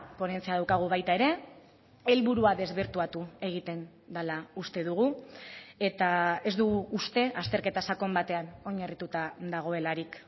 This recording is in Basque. ponentzia daukagu baita ere helburua desbirtuatu egiten dela uste dugu eta ez dugu uste azterketa sakon batean oinarrituta dagoelarik